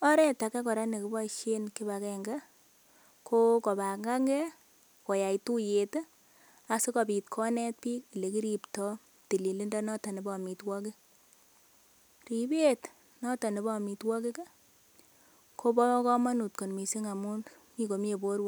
Oret age kora nekiboisien kipagenge ko kobangange koyai tuiyet asikobit konet biik ole kiripto tililindo noton nebo amitwogik ripet noton nebo amitwogik kobo komonut kot mising amun mi komie borwek.